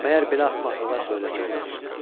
Məgər belə axmaqılıqlar söyləmək olar?